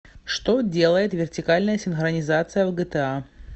что делает вертикальная синхронизация в гта